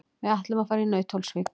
Við ætlum að fara í Nauthólsvík.